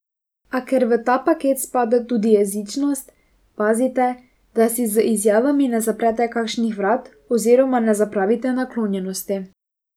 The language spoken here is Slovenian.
A ker v ta paket spada tudi jezičnost, pazite, da si z izjavami ne zaprete kakšnih vrat oziroma ne zapravite naklonjenosti.